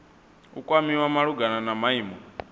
u kwamiwa malugana na maimo